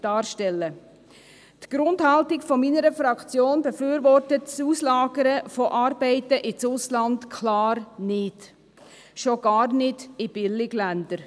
Im Sinne einer Grundhaltung befürwortet meine Fraktion das Auslagern von Arbeiten ins Ausland ganz klar nicht, schon gar nicht in Billigländer.